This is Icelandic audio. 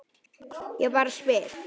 Ég bara spyr